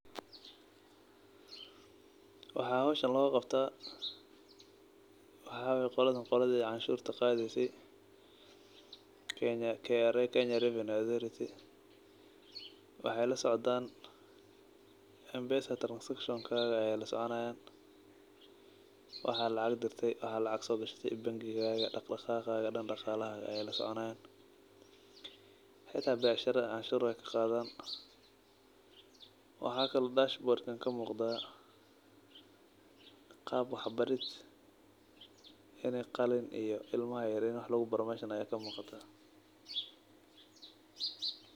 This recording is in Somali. Waxa howshan loqabta waxa waye qoladan qoladi canshurta qadeyse ee Kenya revenue authority KRA oo wexey lasoconayan mpesa transactions kaga ayey lasoconayan waxa lacag dirte iyo sogashate iyo bangiga daqdaqaqa xolahada ayey lasoconayan xita bacsharada canshurta wey kaqadan waxa kalo dashboard kamuqda qab wax barid inii qalin oo ilmaha yaryar wax lugubaro aya kamuqata.